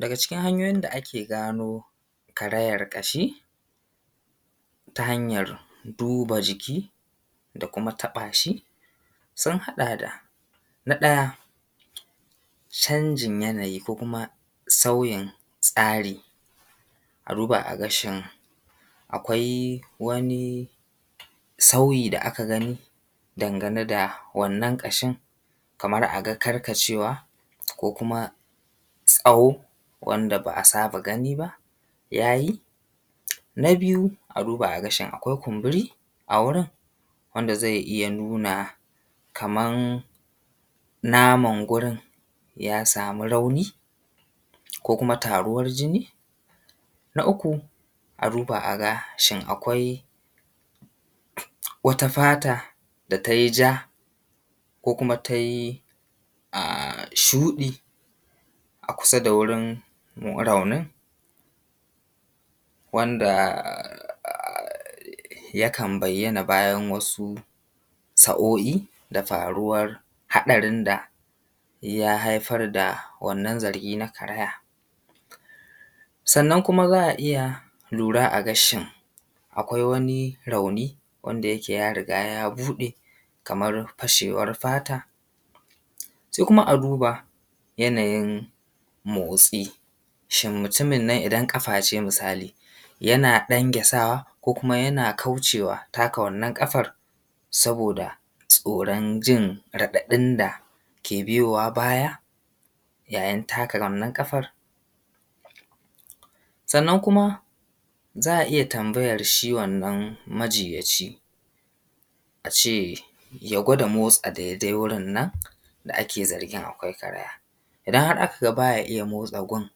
Daga cikin hanyoyin da ake gano karayan ƙashi ta hanyar duba jiki da kuma taɓa shi sun haɗa d na ɗaya canjin yanayi ko kuma sauyin tsari a duba a gani ƙashin akwai wani sauyi da aka gani dangane da wannan ƙashin kaman a ga karkacewa ko kuma tsawo wanda ba’a saba gani ba ya yi na biyu a duba a ga shin akwai kumburi a wurin wanda zai iya nuna kaman naman gurin ya samu rauni ko kuma taruwar jini, na uku a duba a ga shin akwai wata fata da ta yi ja ko kuma ta yi shuɗi a kusa da wurin raunin wanda yakan bayyana bayan wasu sa’o’i da faruwar haɗari da ya haifar da wannan zargi na karaya. Sannan kuma za a iya lura a ga shin akwai wani rauni wanda yake yaga ya riga ya buɗe kamar fashewar fata kuma a duba yanayain mosti shin mutumin nan idan ƙafa ce misali yana ɗangyasawa ko kuma yana kaucewa taka wannan na kafar saboda tsoron jin raɗaɗin da ke biyowa baya yayin taka wanann ƙafan sannan kuma za a iya tambayar shi wannan majinyaci cewa ya gwada motsa daidai wurin nan da ake zargin akwai kaaraya idan aka ga baya iya motsa gurin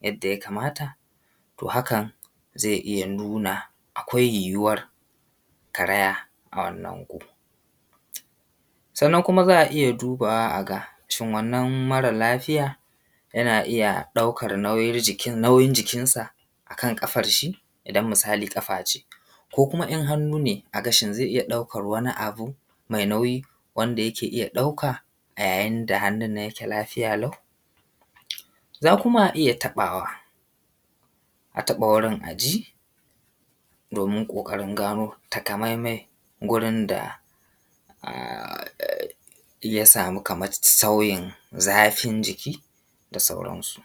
yadda ya kamamta. To, hakan zai iya nuna akwai yuwawar karaya a wanann gun sannan kuma za’a iya duba wa a ga shin wannan mara lafiya yana iya ɗaukar nauyin jikinsa akan ƙafan shi idan misali ƙafa ce ko in hannu ne haka shin zai iya ɗaukar wani abu mai nauyi wanda yake iya ɗauka a yayin da hannun nan yake lafiya lau za kuma a iya taɓawa a taɓa wurin a ji domin ƙoƙarin gano takamamme gurin da ya samu kaman sauyin zafin jiki da sauransu.